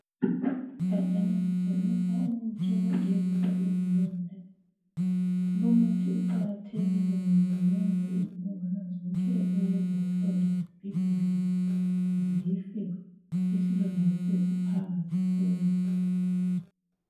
Igajana litshengisa umuthi wokugezisa izilonda lumithi uqakathekile ngoba wenza izibungwana zonke ezenza isilonda sibhibhidle zife isilonda besesiphanga siphole.